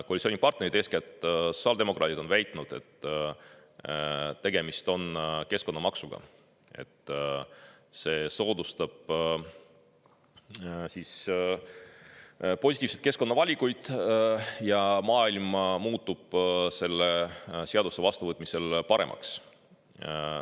Koalitsioonipartnerid, eeskätt sotsiaaldemokraadid, on väitnud, et tegemist on keskkonnamaksuga, et see soodustab positiivseid keskkonnavalikuid ja maailm muutub selle seaduse vastuvõtmisel paremaks.